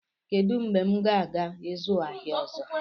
Kedu mgbe m ga-aga ịzụ ahịa ọzọ?